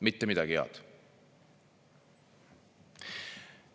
" Mitte midagi head. "